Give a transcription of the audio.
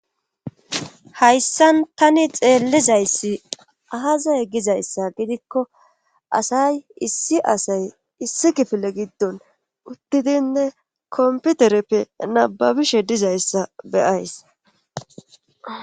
Hayssan tani xeellizayssi ahazay gizayssa gidikko asay issi asay issi kifile giddon uttidinne komputereppe nababishe dizayssa beyays.